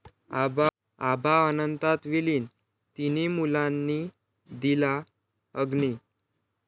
आबा अनंतात विलीन, तिन्ही मुलांनी दिला अग्नी